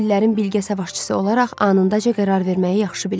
O illərin bilgə savaşçısı olaraq anındaca qərar verməyi yaxşı bilirdi.